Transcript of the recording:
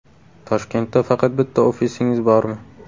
Toshkentda faqat bitta ofisingiz bormi?